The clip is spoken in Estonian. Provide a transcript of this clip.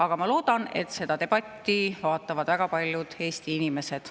Aga ma loodan, et seda debatti vaatavad väga paljud Eesti inimesed.